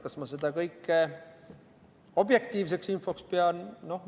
Kas ma seda kõike objektiivseks infoks pean?